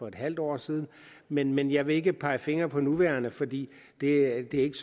en halv år siden men men jeg vil ikke pege fingre for nuværende fordi det ikke